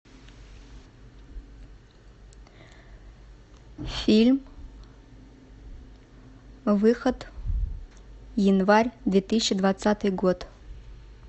фильм выход январь две тысячи двадцатый год